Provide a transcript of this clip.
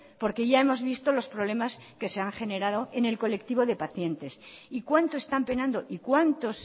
porque ya hemos visto los problemas que se han generado en el colectivo de pacientes y cuánto están penando y cuántos